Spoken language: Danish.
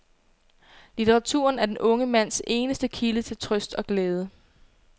Litteraturen er den unge mands eneste kilde til trøst og glæde.